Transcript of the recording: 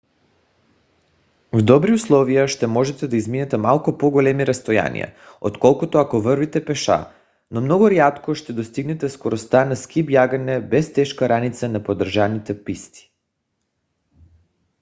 в добри условия ще можете да изминете малко по-големи разстояния отколкото ако вървите пеша – но много рядко ще достигнете скоростта на ски бягане без тежка раница на поддържани писти